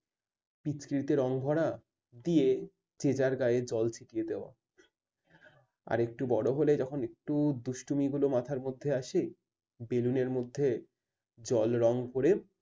পিচকিরিতে রঙভরা নিয়ে যে যার গায়ে জল ছিটিয়ে দেওয়া। আরেকটু বড় হলে তখন একটু দুষ্টুমি গুলো মাথার মধ্যে আসে। ballon র মধ্যে জল রং করে